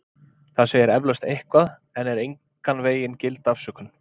Það segir eflaust eitthvað en er engan vegin gild afsökun.